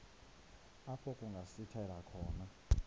apho kungasithela khona